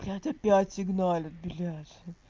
блядь опять сигналят блядь